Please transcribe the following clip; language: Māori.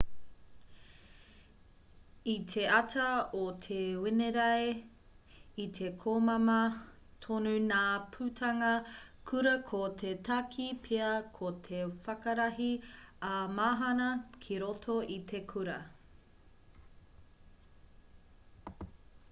i te ata o te wenerei i te komama tonu ngā putanga kura ko te take pea ko te whakarahi ā-mahana ki roto i te kura